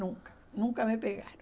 Nunca, nunca me pegaram.